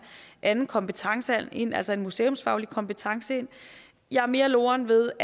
anden kompetence ind altså en museumsfaglig kompetence jeg er mere loren ved